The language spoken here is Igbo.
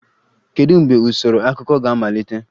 Kedu mgbe usoro akụkọ ga-amalite?